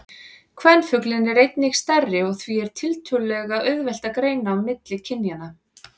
Kvenfuglinn er einnig stærri og því er tiltölulega auðvelt að greina á milli kynjanna.